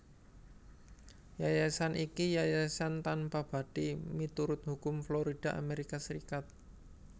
Yayasan iki yayasan tanpabathi miturut hukum Florida Amerika Serikat